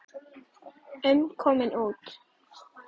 um komin út.